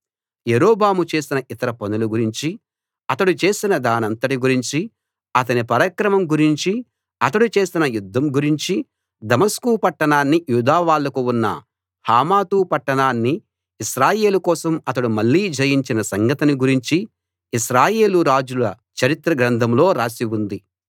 యరొబాము చేసిన ఇతర పనుల గురించి అతడు చేసిన దానంతటి గురించి అతని పరాక్రమం గురించి అతడు చేసిన యుద్ధం గురించి దమస్కు పట్టణాన్ని యూదావాళ్లకు ఉన్న హమాతు పట్టణాన్ని ఇశ్రాయేలు కోసం అతడు మళ్ళీ జయించిన సంగతిని గురించి ఇశ్రాయేలు రాజుల చరిత్ర గ్రంథంలో రాసి ఉంది